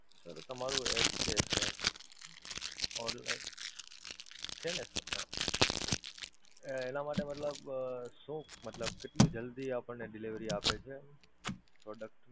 sir તમારું app છે sir online છે ને sir હાં, એનાં માટે મતલબ શું મતલબ કેટલું જલ્દી આપણને delivery આપે છે product?